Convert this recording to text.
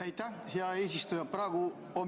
Aitäh, hea eesistuja!